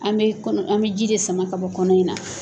An mɛ kɔnɔ an mɛ ji de sama ka bɔ kɔnɔ in na.